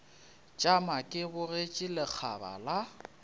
tšama ke bogetše lekgaba la